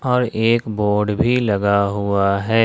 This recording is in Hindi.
और एक बोर्ड भी लगा हुआ है।